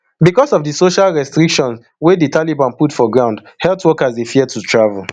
becos of di social restrictions wey di taliban put for ground health workers dey fear to travel